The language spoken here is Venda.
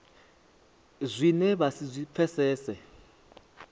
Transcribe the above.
zwine vha si zwi pfesese